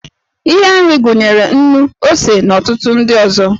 Ihe nri gụnyere nnu, ose, na ọtụtụ ndị ọzọ.